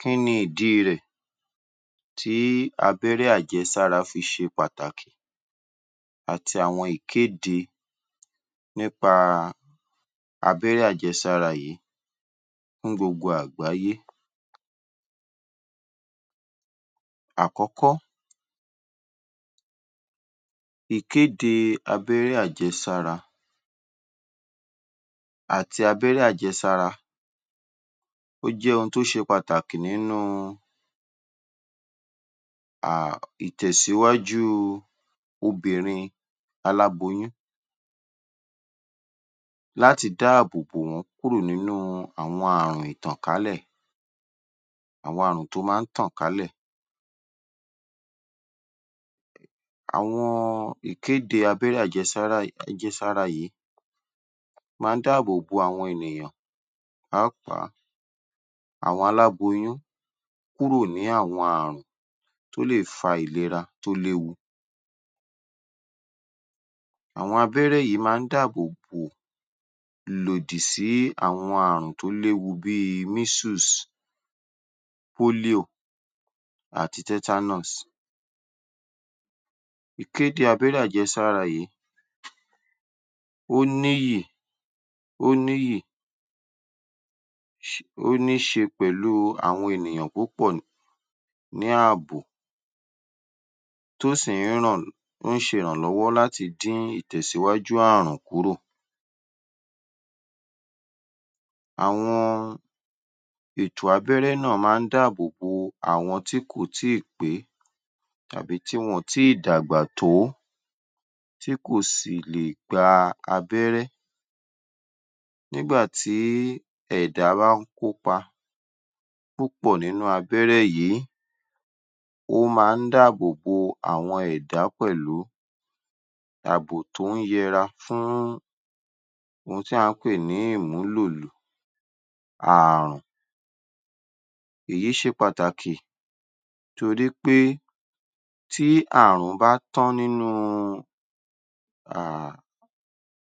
Kí ni ìdí rẹ̀ tí abẹ́rẹ́ àjẹsára fi ṣe pàtàkì àti àwọn ìkéde nípa abẹ́rẹ́ àjẹsára yìí fún gbogbo àgbáyé? Àkọ́kọ́, ìkéde abẹ́rẹ́ àjẹsára àti abẹ́rẹ́ àjẹsára ó jẹ́ ohun tó ṣe pàtàkì nínú um ìtẹ̀síwájú obìnrin aláboyún láti dáàbòbò wọ́n kúrò nínuh àwọn ààrùn ìtànkálẹ̀, àwọn ààrùn tó máa ń tàn kálẹ̀. Àwọn ìkéde abẹ́rẹ́ àjẹsára yìí máa ń dáàbòbo àwọn ènìyàn pàápàá àwọn aláboyún kúrò ní àwọn ààrùn tó lè fa ìlera tó léwu. Àwọn abẹ́rẹ́ yìí máa ń dáàbòbò ìlòdì sí àwọn ààrùn tó léwu bí i measles, polio àti tetanus. Ìkéde abẹ́rẹ́ àjẹsára yìí ó níyì ó níyì ó níṣe pèlú àwọn ènìyàn púpọ̀ ní ààbò tó sì ń ràn ń ṣe ìrànlọ́wọ́ láti dín ìtẹ̀síwájú ààrùn kúrò. Àwọn ètò abẹ́rẹ́ náà máa ń dáàbòbò àwọn tí kò tí ì pé tàbí tí wọñ ò tí ì dàgbà tó tí kò sì lè gba abẹ́rẹ́ nígbà tí ẹ̀dá bá ń kópa púpọ̀ nínú abẹ́rẹ́ yìí ó máa ń dáàbòbo àwọn ẹ̀dá pẹ̀lú. Àbò tó ń yẹra fún ohun tí à ń pè ní ìmúlò ààrùn. Èyí ṣe pàtàkì torí pé tí ààrùn bá tán nínú um